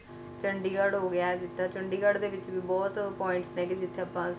ਚੰਡੀਗੜ੍ਹ ਹੋ ਗਿਆ ਇਹ ਜਿਦਾ ਚੰਡੀਗੜ੍ਹ ਦੇ ਵਿੱਚ ਵੀ ਬਹੁਤ points ਨੇ ਗੇ ਜਿੱਥੇ ਆਪਾਂ sector ਬਣੇ ਹੋਏ